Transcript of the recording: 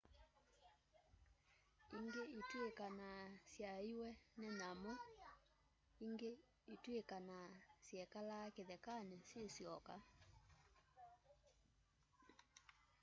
ingĩ itwikanaa syaeiwe nĩ nyamu ingĩ itwikanaa syekalie kĩthekanĩ syĩ syoka